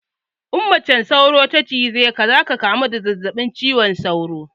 In macen sauro ta cije ka zaka kamu da zazzaɓin cizon sauro